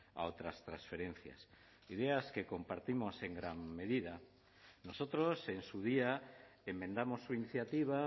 a otras transferencias ideas que compartimos en gran medida nosotros en su día enmendamos su iniciativa